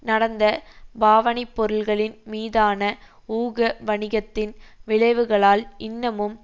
நடந்த பாவனைப்பொருள்களின் மீதான ஊக வணிகத்தின் விளைவுகளால் இன்னமும்